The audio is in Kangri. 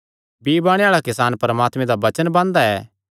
बीई बाणे आल़ा किसान परमात्मे दा वचन बांदा ऐ